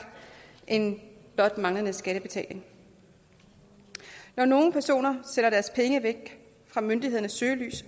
end blot den manglende skattebetaling når nogle personer sætter deres penge væk fra myndighedernes søgelys